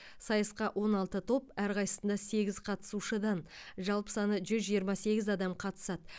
сайысқа он алты топ әрқайсысында сегіз қатысушыдан жалпы саны жүз жиырма сегіз адам қатысады